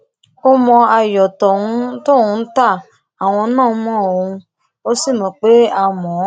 ó mọ ayọ tóun ń ta àwọn náà mọ ọn ó sì mọ pé a mọ ọn